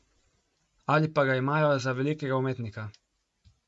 Ali pa ga imajo za velikega umetnika?